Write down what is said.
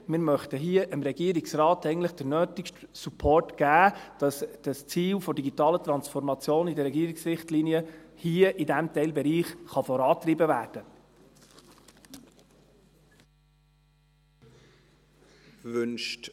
Wir möchten hier dem Regierungsrat den nötigen Support geben, damit das Ziel der digitalen Transformation in den Regierungsrichtlinien in diesem Teilbereich vorangetrieben werden kann.